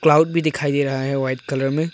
भी दिखाई दे रहा है वाइट कलर में।